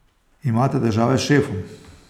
Imate težave s šefom?